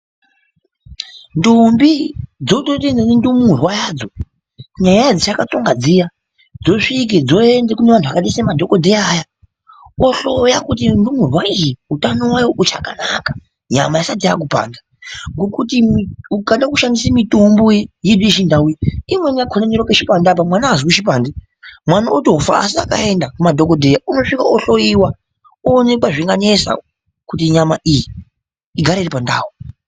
Ntombi dzotoite ndumurwa yadzo, nyaya dzatatonga dziya dzosvika dzoende kune vantu vakaita semadhokodheya aya ohloya kuti ndumurwa iyi utano hwayo hwuchakanaka, nyama aisati yakupanda. Ngokuti ukada kushandisa mitombo yedu yechindau iyi, imweni yakhona inorape chipande apa mwana aazwi chipande, mwana otofa, asi akaenda kumadhokodheya unosvika ohloiwa oonekwa zvinganesa kuti nyama iyi igare iri pandau.